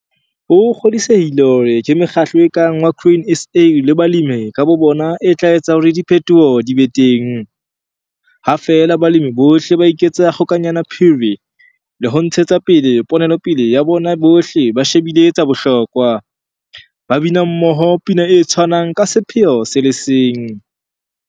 O kgodisehile hore ke mekgatlo e kang wa Grain SA le balemi ka bobona e tla etsa hore diphetoho di be teng, ha feela balemi bohle ba ka iketsa kgokanyanaphiri le ho ntshetsa pele ponelopele ya bona bohle ba shebile tsa bohlokwa, ba bina mmoho pina e tshwanang ka sepheo se le seng.